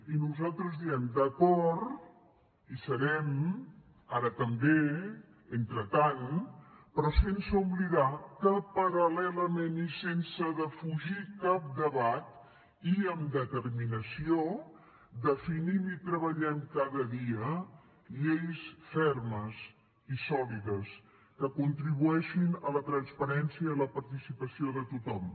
i nosaltres diem d’acord hi serem ara també entretant però sense oblidar que paral·lelament i sense defugir cap debat i amb determinació definim i treballem cada dia lleis fermes i sòlides que contribueixin a la transparència i a la participació de tothom